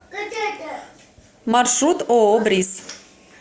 маршрут ооо бриз